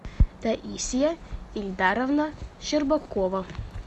таисия эльдаровна щербакова